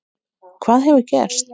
Hvað hefur gerst?